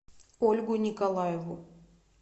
ольгу николаеву